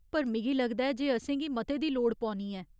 पर मिगी लगदा ऐ जे असेंगी मते दी लोड़ पौनी ऐ।